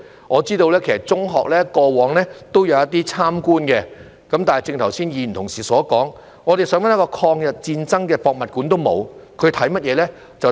我知道中學過往也有一些參觀活動，但正如剛才議員所說，我們想找一個有關抗日戰爭的博物館也沒有，他們參觀甚麼呢？